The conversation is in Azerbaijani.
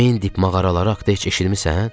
Mendip mağaraları haqqda heç eşitmisən?